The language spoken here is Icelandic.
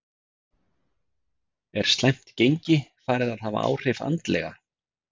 Er slæmt gengi farið að hafa áhrif andlega?